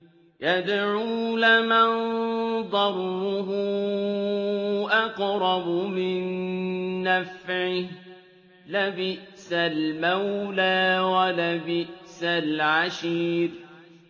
يَدْعُو لَمَن ضَرُّهُ أَقْرَبُ مِن نَّفْعِهِ ۚ لَبِئْسَ الْمَوْلَىٰ وَلَبِئْسَ الْعَشِيرُ